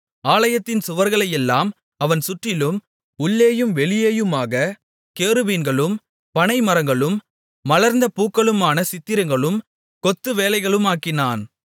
ஆலயத்தின் சுவர்களையெல்லாம் அவன் சுற்றிலும் உள்ளேயும் வெளியேயுமாகக் கேருபீன்களும் பனை மரங்களும் மலர்ந்த பூக்களுமான சித்திரங்களும் கொத்து வேலைகளுமாக்கினான்